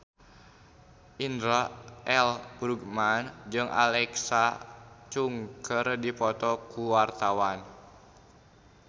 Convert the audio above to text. Indra L. Bruggman jeung Alexa Chung keur dipoto ku wartawan